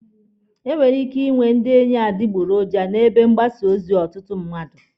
E nwere ike ịnwe ndị enyi adịgboroja n'ebe mgbasa ozi ọtụtụ mmadụ.